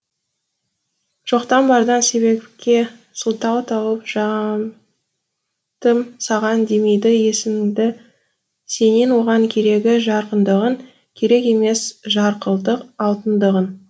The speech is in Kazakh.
жоқтан бардан себепке сылтау тауып жамтым саған демейді есігімді сенен оған керегі жарқындығың керек емес жарқылдық алтындығың